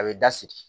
A bɛ da sigi